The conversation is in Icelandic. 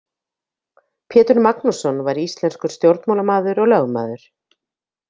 Pétur Magnússon var íslenskur stjórnmálamaður og lögmaður.